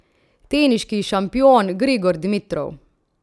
Teniški šampion Grigor Dimitrov.